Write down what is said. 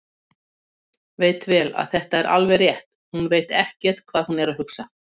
Veit vel að þetta er alveg rétt: Hún veit ekkert hvað hún er að hugsa.